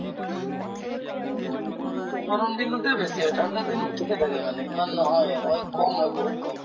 উম, গৰম দিনতে বেছি হয় ঠাণ্ডা দিনত থিকে থাকে মানে ইমান নহয় হয় কম হয় বহুত কম